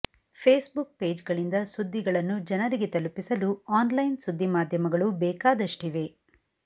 Facebook ಪೇಜ್ಗಳಿಂದ ಸುದ್ದಿಗಳನ್ನು ಜನರಿಗೆ ತಲುಪಿಸಲು ಆನ್ಲೈನ್ ಸುದ್ದಿ ಮಾಧ್ಯಮಗಳು ಬೇಕಾದಷ್ಟಿವೆ